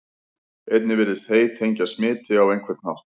einnig virðist hey tengjast smiti á einhvern hátt